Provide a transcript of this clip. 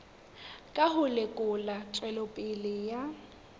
ka ho lekola tswelopele ya